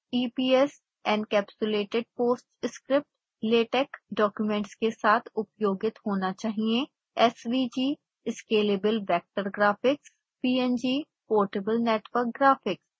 eps encapsulated post script latex documents के साथ उपयोगित होना चाहिए